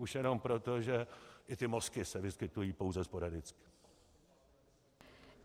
Už jenom proto, že i ty mozky se vyskytují pouze sporadicky.